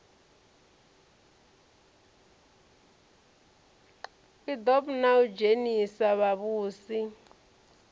idp na u dzhenisa vhavhusi